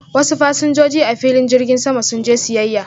wasu fasinjoji a filin jirgin sama sun je siyyaya.